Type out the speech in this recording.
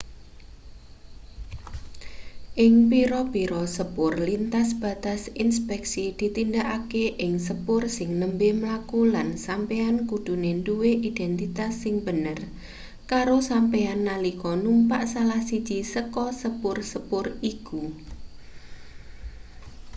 ing pira-pira sepur lintas batas inspeksi ditindakake ing sepur sing nembe mlaku lan sampeyan kudune duwe identitas sing bener karo sampeyan nalika numpak salah siji saka sepur-sepur iku